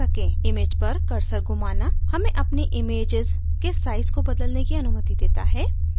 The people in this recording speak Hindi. image पर कर्सर घुमाना हमें अपनी इमैजेस के साइज को बदलने की अनुमति देता है